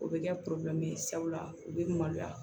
O bɛ kɛ ye sabula u bɛ maloya